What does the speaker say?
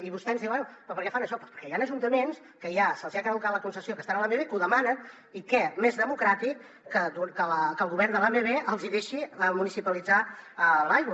i vostè ens diu bé però per què fan això doncs perquè hi han ajuntaments que ja se’ls hi ha caducat la concessió que estan a l’amb que ho demanen i què més democràtic que que el govern de l’amb els hi deixi municipalitzar l’aigua